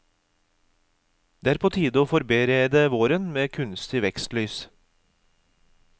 Det er på tide å forberede våren med kunstig vekstlys.